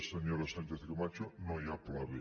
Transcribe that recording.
senyora sánchez camacho no hi ha pla b